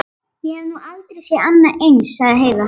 Ég hef nú aldrei séð annað eins, sagði Heiða.